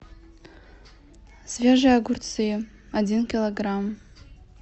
свежие огурцы один килограмм